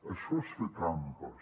això és fer trampes